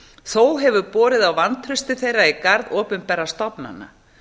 þó hefur borið á vantrausti þeirra í garð opinberra stofnana